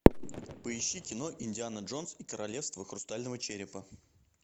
поищи кино индиана джонс и королевство хрустального черепа